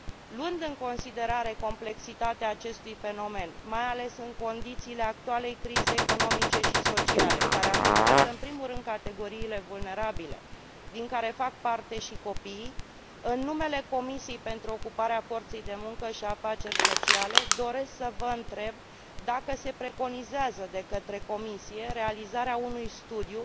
Luând în considerare complexitatea acestui fenomen, mai ales în condițiile actualei crize economice și sociale, care afectează în primul rând categoriile vulnerabile din care fac parte și copiii, în numele Comisiei pentru ocuparea forței de muncă și afaceri sociale, doresc să vă întreb dacă se preconizează de către Comisie realizarea unui studiu